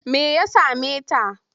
Me ya same ta?